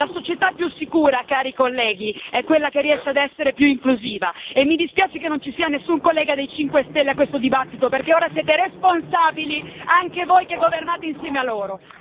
La società più sicura, cari colleghi, è quella che riesce a essere più inclusiva e mi dispiace che non ci sia nessun collega dei 5 Stelle a questo dibattito perché ora siete responsabili anche voi che governate insieme a loro.